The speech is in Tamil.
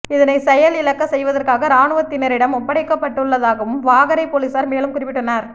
இதனை செயல் இழக்கச் செய்வதற்காக இராணுவத்தினரிடம் ஒப்படைக்கப்பட்டுள்ளதாகவும் வாகரை பொலிஸார் மேலும் குறிப்பிட்டனர்